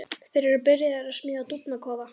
Þeir eru byrjaðir að smíða dúfnakofa.